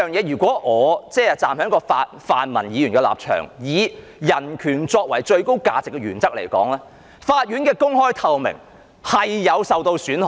如果我站在泛民議員的立場，以人權作為最高價值的原則，法庭的公開和透明度會受到損害。